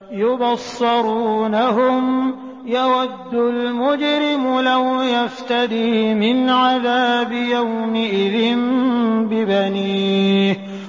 يُبَصَّرُونَهُمْ ۚ يَوَدُّ الْمُجْرِمُ لَوْ يَفْتَدِي مِنْ عَذَابِ يَوْمِئِذٍ بِبَنِيهِ